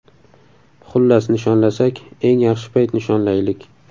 Xullas, nishonlasak eng yaxshi payt nishonlaylik.